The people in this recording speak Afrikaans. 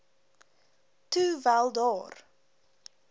toe wel daar